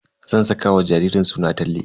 Zan saka wa jaririn suna Talle.